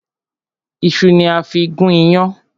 Ìṣu ni a fí gún yán.